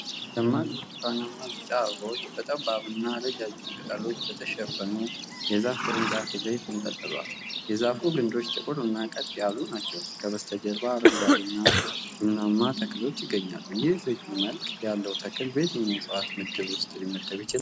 ደማቅ ብርቱካንማ-ቢጫ አበባዎች በጠባብ እና ረጃጅም ቅጠሎች በተሸፈኑ የዛፍ ቅርንጫፎች ላይ ተንጠልጥለዋል። የዛፉ ግንዶች ጥቁርና ቀጥ ያሉ ናቸው፤ ከበስተጀርባው አረንጓዴ እና ቡናማ ተክሎች ይገኛሉ። ይህ ልዩ መልክ ያለው ተክል በየትኛው የዕፅዋት ምድብ ውስጥ ሊመደብ ይችላል?